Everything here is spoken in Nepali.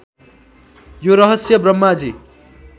यो रहस्य ब्रह्माजी